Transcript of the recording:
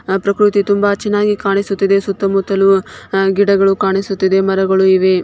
ಆ ಪ್ರಕೃತಿ ತುಂಬಾ ಚೆನ್ನಾಗಿ ಕಾಣಿಸುತ್ತಿದೆ. ಸುತ್ತಮುತ್ತಲು ಹ ಗಿಡಗಳು ಕಾಣಿಸುತ್ತಿದೆ ಮರಗಳು ಇವೆ.